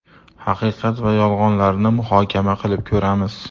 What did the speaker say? Haqiqat va yolg‘onlarni muhokama qilib ko‘ramiz.